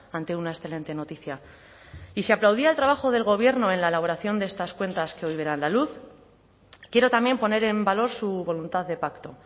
ante una excelente noticia y si aplaudiera el trabajo del gobierno en la elaboración de estas cuentas que hoy verán la luz quiero también poner en valor su voluntad de pacto